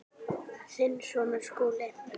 Þinn sonur, Skúli.